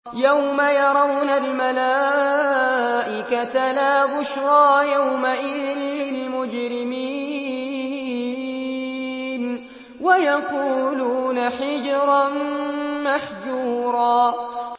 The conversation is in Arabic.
يَوْمَ يَرَوْنَ الْمَلَائِكَةَ لَا بُشْرَىٰ يَوْمَئِذٍ لِّلْمُجْرِمِينَ وَيَقُولُونَ حِجْرًا مَّحْجُورًا